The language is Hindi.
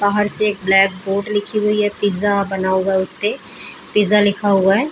बाहर से एक ब्लैक बोर्ड लिखी हुई है पिज़्जा बना हुआ है उसपे पिज़्जा लिखा हुआ है ।